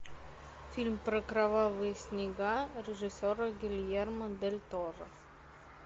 фильм про кровавые снега режиссера гильермо дель торо